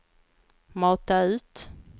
mata ut